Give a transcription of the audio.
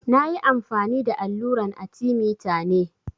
Na ƴi amfani da alluran arthemeter ne.